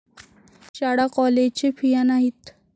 शाळा कॉलेजे फिया नाहीत.